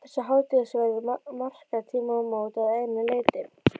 Þessi hádegisverður markar tímamót að einu leyti.